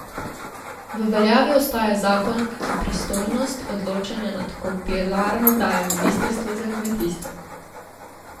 V veljavi ostaja zakon, ki pristojnost odločanja nad kobilarno daje ministrstvu za kmetijstvo.